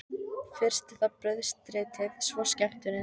Fyrst er það brauðstritið, svo skemmtunin.